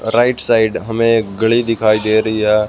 Right side हमें एक घड़ी दिखाई दे रही है।